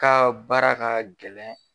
Ka baara ka gɛlɛn